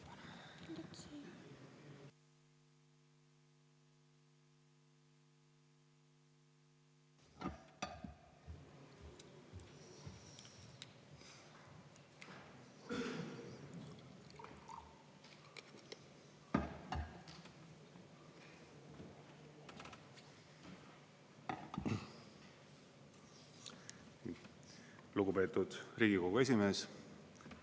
Lugupeetud Riigikogu esimees!